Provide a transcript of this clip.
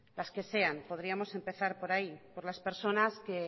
las que sean podríamos empezar por ahí por las personas que